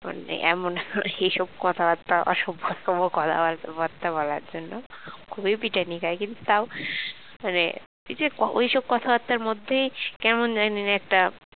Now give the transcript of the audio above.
মানে এইসব কথাবার্তা আবার সভ্য অসভ্য কথাবার্তা বলার জন্য খুবই পিটানি খায় কিন্তু তাও মানে ওইসব কথাবার্তার মধ্যে কেমন জানি একটা